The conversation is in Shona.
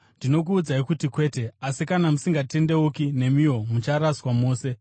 Ndinokuudzai kuti kwete! Asi kana musingatendeuki, nemiwo mucharaswa mose.